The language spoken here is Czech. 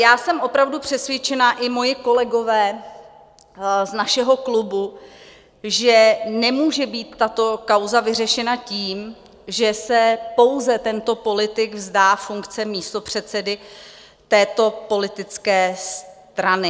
Já jsem opravdu přesvědčena, i moji kolegové z našeho klubu, že nemůže být tato kauza vyřešena tím, že se pouze tento politik vzdá funkce místopředsedy této politické strany.